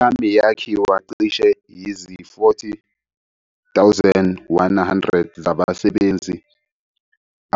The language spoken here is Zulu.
I-Army yakhiwa cishe yizi-40,100 zabasebenzi